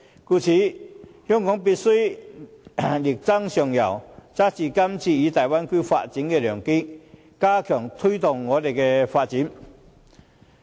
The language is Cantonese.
故此，香港必須力爭上游，抓住今次參與大灣區發展的良機，加強推動我們的發展。